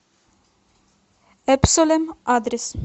эбсолем адрес